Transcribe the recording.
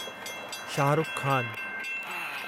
Shahrukh Khan